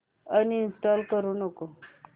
uninstall करू नको